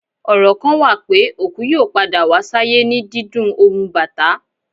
Ọrọ kan wa pe, oku yoo pada wa sayè ni díndún ohun Batà.